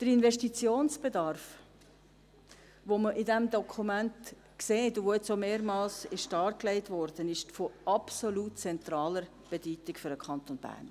Der Investitionsbedarf, den man in diesem Dokument sieht und der jetzt auch mehrmals dargelegt wurde, ist von absolut zentraler Bedeutung für den Kanton Bern.